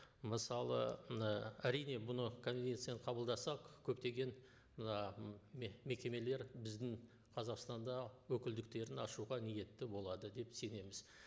мысалы ы әрине бұны конвенцияны қабылдасақ көптеген мына мекемелер біздің қазақстанда өкілдіктерін ашуға ниетті болады деп сенеміз